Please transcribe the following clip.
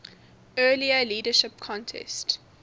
earlier leadership contest